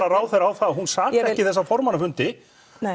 ráðherra á það að hún sat ekki þessa formannafundi